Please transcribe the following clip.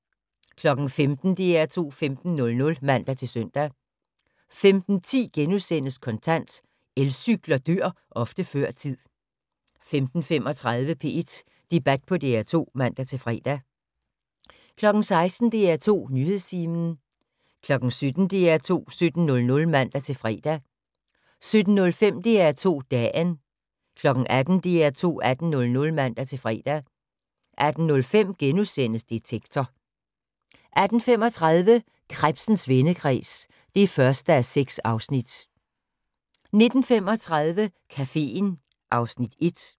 15:00: DR2 15.00 (man-søn) 15:10: Kontant: Elcykler dør ofte før tid * 15:35: P1 Debat på DR2 (man-fre) 16:00: DR2 Nyhedstimen 17:00: DR2 17.00 (man-fre) 17:05: DR2 Dagen 18:00: DR2 18.00 (man-fre) 18:05: Detektor * 18:35: Krebsens vendekreds (1:6) 19:35: Caféen (Afs. 1)